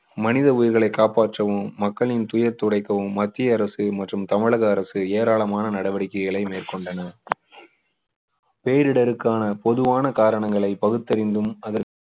மனித உயிர்களை காப்பாற்றவும் மக்களின் துயர் துடைக்கவும் மத்திய அரசு மற்றும் தமிழக அரசு ஏராளமான நடவடிக்கைகளை மேற்கொண்டனர் பேரிடருக்கான பொதுவான காரணங்களை பகுத்தறிந்தும் அதற்கு